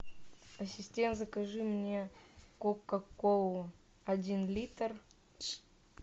ассистент закажи мне кока колу один литр